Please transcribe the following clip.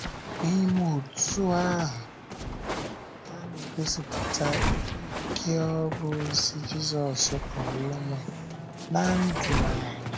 N’ime otú ahụ, ha na - egosipụta ike ọrụ ozi Jizọs pụrụ inwe ná ndụ anyị.